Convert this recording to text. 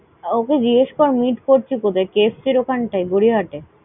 ওকে জিজ্ঞেস কর meet করছি কোথায়? KFC এর ওখানটাই, গড়িয়াহাট?